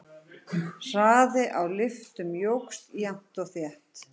Hraði á lyftum jókst jafnt og þétt.